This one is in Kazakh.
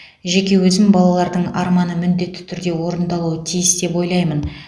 жеке өзім балалардың арманы міндетті түрде орындалуы тиіс деп ойлаймын